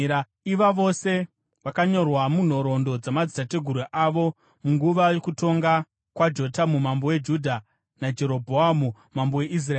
Iva vose vakanyorwa munhoroondo dzamadzitateguru avo munguva yokutonga kwaJotamu mambo weJudha naJerobhoamu mambo weIsraeri.